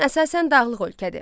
Çin əsasən dağlıq ölkədir.